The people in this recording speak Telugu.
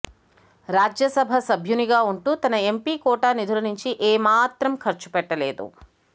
రాజ్యసభ సభ్యునిగా ఉంటూ తన ఎంపి కోటా నిధుల నుంచి ఏమాత్రం ఖర్చు పెట్టలేదు